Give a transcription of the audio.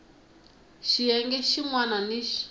xiyenge xin wana ni xin